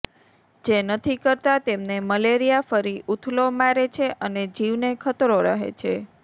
જે નથી કરતા તેમને મલેરિયા ફરી ઊથલો મારે છે અને જીવને ખતરો રહે છે